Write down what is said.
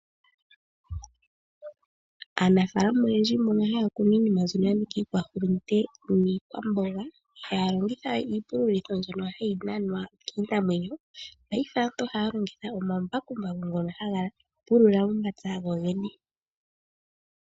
Aanafaalama oyendji mbono haya kunu iinima mbyono ya nika iikwahulunde niikwamboga, ihaya longitha we iipululitho mbyono hayi nanwa kiinamwenyo, paife aantu ohaya longitha omambakumbaku ngono haga pulula momapya gogene.